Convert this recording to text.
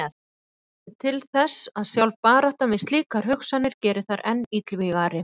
Margt bendir til þess að sjálf baráttan við slíkar hugsanir geri þær enn illvígari.